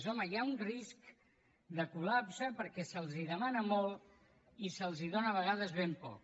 home hi ha un risc de col·lapse perquè se’ls demana molt i se’ls dóna a vegades ben poc